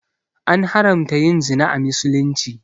An haramta yin zina a misulumci